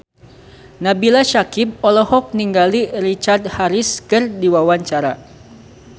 Nabila Syakieb olohok ningali Richard Harris keur diwawancara